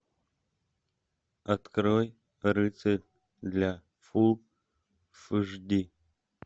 открой рыцарь для фул эйч ди